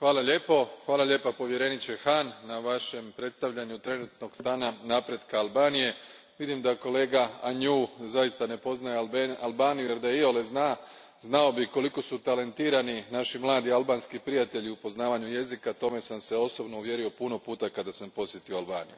Gospođo predsjednice, povjereniče Hahn, hvala lijepo na Vašem predstavljanju trenutnog stanja napretka Albanije. Vidim da kolega Agnew zaista ne poznaje Albaniju, jer da je iole zna, znao bi koliko su talentirani naši mladi albanski prijatelji u poznavanju jezika. U to sam se osobno uvjerio puno puta kada sam posjetio Albaniju.